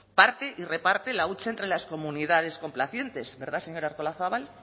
parte y reparte la hucha entre las comunidades complacientes verdad señora artolazabal